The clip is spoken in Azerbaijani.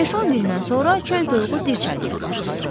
Beş-on gündən sonra çöl toyuğu dirçəlməyə başlayır.